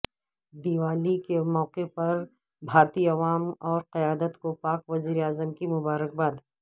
دیوالی کے موقعے پر بھارتی عوام اور قیادت کو پاک وزیر اعظم کی مبارکباد